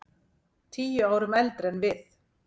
Tíu árum eldri en við.